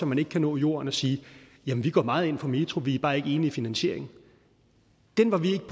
man ikke kan nå jorden og sige vi går meget ind for metro vi er bare ikke enige i finansieringen den var vi ikke